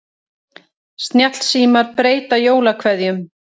Snjallsímar breyta jólakveðjum